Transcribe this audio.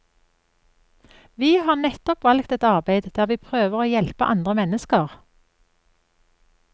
Vi har nettopp valgt et arbeid der vi prøver å hjelpe andre mennesker.